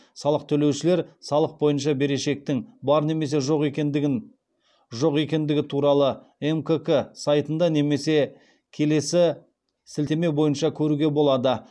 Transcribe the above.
салық төлеушілер салық бойынша берешектің бар немесе жоқ екендігі туралы мкк сайтында немесе келесі сілтеме бойынша көруге болады